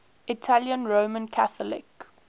italian roman catholic